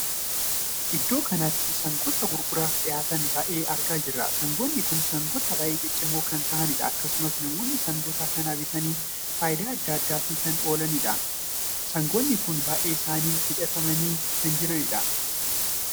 Iddoo kanatti sangoota gurguraaf dhihaatan baay'ee argaa jirra. sangoonni kun sangoota baay'ee ciccimoo kan tahanidha. akkasumas namoonni sangoota kana bitanii faayidaa addaa addaa fi kan oolanidha. sangoonni kun baay'een isaanii hidhatamanii kan jiranidha.